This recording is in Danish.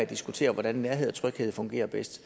diskutere hvordan nærhed og tryghed fungerer bedst